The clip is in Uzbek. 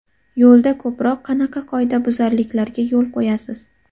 Yo‘lda ko‘proq qanaqa qoidabuzarliklarga yo‘l qo‘yasiz?